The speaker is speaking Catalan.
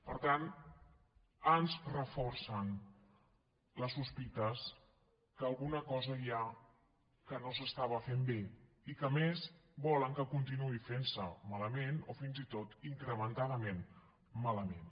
per tant ens reforcen les sospites que alguna cosa hi ha que no es feia bé i que a més volen que continuï fent se malament o fins i tot incrementadament malament